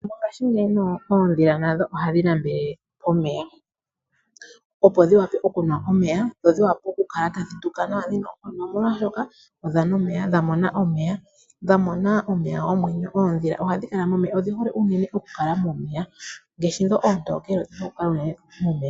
Mongashingeyi oodhila nadho ohadhi nambele pomeya, opo dhi wape okunwa omeya dho dhi wape okukala tadhi tuka nawa dhina oonkondo, no molwashoka odha nwa omeya, dha mona omeya. Dha mona omeya gomwenyo. Oodhila ohadhi kala momeya, odhi hole unene okukala momeya. Ngaashi dho oontokele odhi hole okukala unene momeya.